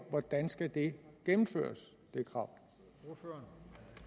hvordan skal det krav